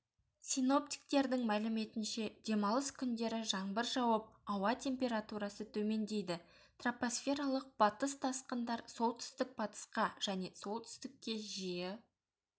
синоптиктердің мәліметінше демалыс күндері жаңбыр жауып ауа температурасы төмендейді тропосфералық батыс тасқындар солтүстік-батысқа және солтүстікке жиі